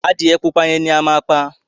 Adìyẹ pupa yẹn ni a máa pa.